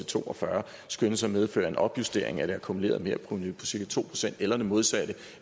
to og fyrre skønnes at medføre en opjustering af det akkumulerede merprovenu på cirka to procent eller det modsatte